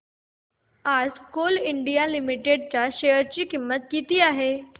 आज Coal India Limited च्या share ची किंमत किती आहे